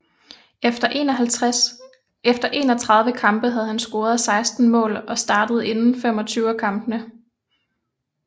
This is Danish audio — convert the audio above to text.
Efter 31 kampe havde han scoret 16 mål og startet inde 25 af kampene